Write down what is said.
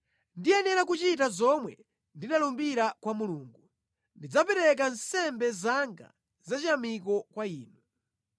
Ndiyenera kuchita zomwe ndinalumbira kwa Mulungu; ndidzapereka nsembe zanga zachiyamiko kwa inu.